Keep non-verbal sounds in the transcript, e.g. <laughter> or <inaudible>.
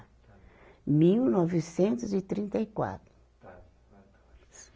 Mil novecentos e trinta e quatro. <unintelligible>